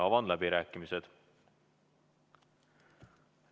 Avan läbirääkimised.